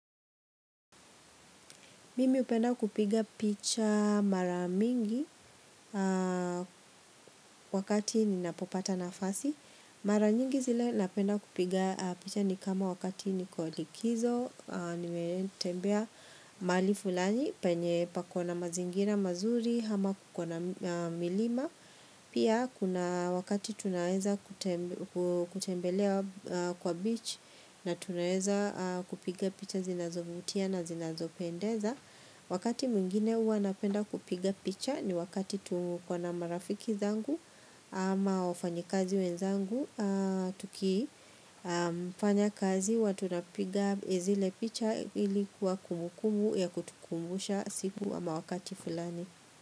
Mimi hupenda kupiga picha mara mingi wakati ninapopata nafasi. Mara nyingi zile napenda kupiga picha ni kama wakati niko likizo, nimetembea mahali fulani, penye pako na mazingira mazuri, ama kuko na milima. Pia kuna wakati tunaweza kutembelea kwa beach na tunaweza kupiga picha zinazovutia na zinazopendeza. Wakati mwingine huwa napenda kupiga picha ni wakati tuko na marafiki zangu ama wafanyikazi wenzangu, tukifanya kazi huwa tunapiga zile picha ili kuwa kumbukumbu ya kutukumbusha siku ama wakati fulani.